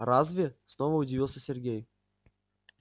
разве снова удивился сергей